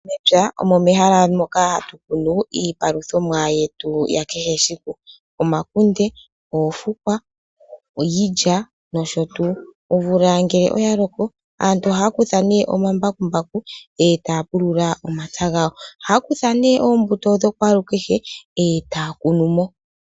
Mepya omo mehala moka hatu mono iipaluthomwa yetu ya kehe esiku, omakunde, oofukwa iilya nosho tuu. Omvula ngele oya loko , aantu ohaa kutha ne omambakumbaku, e taa pulula omapya gawo. Ohaa kutha ne oombuto dha kwalu kehe,